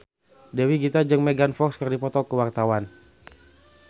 Dewi Gita jeung Megan Fox keur dipoto ku wartawan